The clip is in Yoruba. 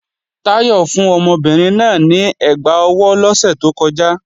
Táyọ̀ fún ọmọbìnrin náà ní ẹgbá ọwọ́ lọ́sẹ̀ tó kọjá